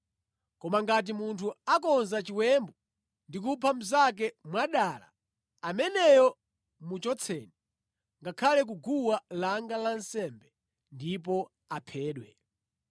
Koma ngati munthu akonza chiwembu ndi kupha mnzake mwadala, ameneyo muchotseni ngakhale ku guwa langa lansembe ndipo aphedwe.